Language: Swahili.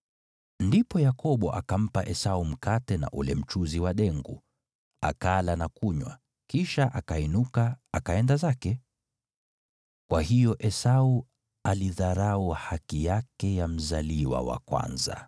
Ndipo Yakobo akampa Esau mkate na ule mchuzi wa dengu. Akala na kunywa, kisha akainuka akaenda zake. Kwa hiyo Esau alidharau haki yake ya mzaliwa wa kwanza.